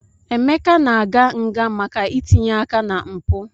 Emeka na-aga nga maka itinye aka na mpụ.